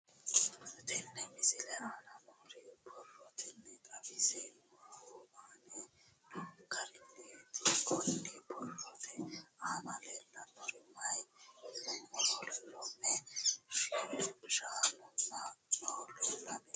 Tenne misile aana noore borroteni xawiseemohu aane noo gariniiti. Kunni borrote aana leelanori maati yiniro loome, shaanunna noohu leelanni nooe.